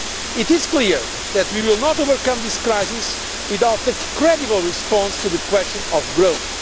It is clear that we will not overcome this crisis without a credible response to the question of growth.